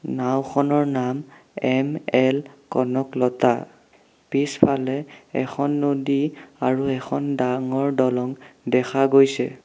নাওঁখনৰ নাম এম_এল কনকলতা পিছফালে এখন নদী আৰু এখন ডাঙৰ দলং দেখা গৈছে।